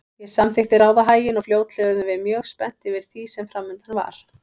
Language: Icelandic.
Ég samþykkti ráðahaginn og fljótlega urðum við mjög spennt yfir því sem framundan var.